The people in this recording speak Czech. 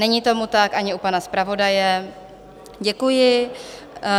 Není tomu tak, ani u pana zpravodaje, děkuji.